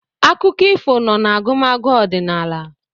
Akụkọ ifo nọ n'agụmagụ ọdịnala